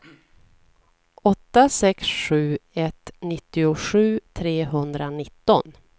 åtta sex sju ett nittiosju trehundranitton